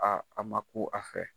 Aa a ma ku a fɛ.